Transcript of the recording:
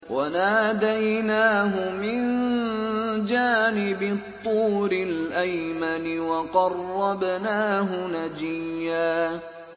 وَنَادَيْنَاهُ مِن جَانِبِ الطُّورِ الْأَيْمَنِ وَقَرَّبْنَاهُ نَجِيًّا